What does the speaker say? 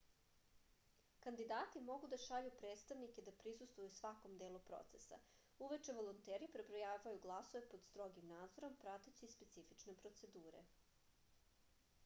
kandidati mogu da šalju predstavnike da prisustvuju svakom delu procesa uveče volonteri prebrojavaju glasove pod strogim nadzorom prateći specifične procedure